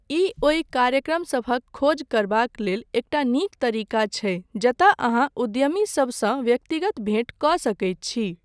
ई ओहि कार्यक्रमसभक खोज करबाक लेल एकटा नीक तरीका छै जतय अहाँ उद्यमीसभसँ व्यक्तिगत भेंट कऽ सकैत छी।